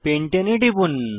পেন্টানে এ টিপুন